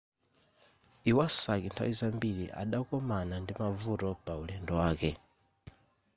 iwasaki nthawi zambiri adakomana ndi mavuto paulendo wake